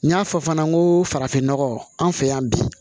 N y'a fɔ fana n ko farafin nɔgɔ an fɛ yan bi